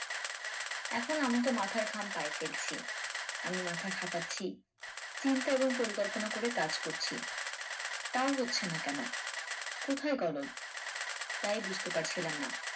এখন আমি তো মাথার ঘাম পায়ে ফেলছি আমি মাথা খাটাচ্ছি চিন্তা এবং পরিকল্পনা করে কাজ করছি তাও হচ্ছে না কেন? কোথায় গলদ তাই বুঝতে পারছিলাম না।